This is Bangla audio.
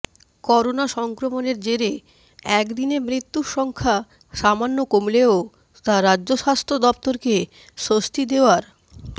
করোনা সংক্রমণের জেরে এক দিনে মৃত্যুর সংখ্যা সামান্য কমলেও তা রাজ্য স্বাস্থ্য দফতরকে স্বস্তি দেওয়ার